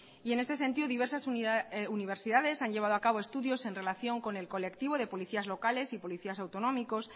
y en este sentido diversas universidades han llevado a cabo estudios en relación con el colectivo de policías locales y policías autonómicos